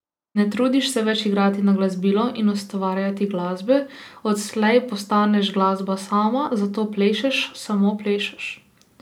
Ne trudiš se več igrati na glasbilo in ustvarjati glasbe, odslej postaneš glasba sama, zato plešeš, samo plešeš.